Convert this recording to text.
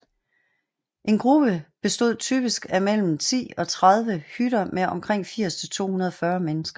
En gruppe bestod typisk af mellem 10 og 30 hytter med omkring 80 til 240 mennesker